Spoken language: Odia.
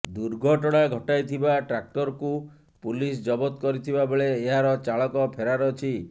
ଦୁର୍ଘଟଣା ଘଟାଇଥିବା ଟ୍ରାକ୍ଟରକୁ ପୁଲିସ ଜବତ କରିଥିବା ବେଳେ ଏହାର ଚାଳକ ଫେରାର ଅଛି